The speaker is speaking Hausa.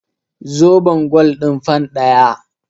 Zobon gwal ɗin fan ɗaya.